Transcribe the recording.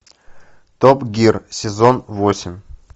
топ гир сезон восемь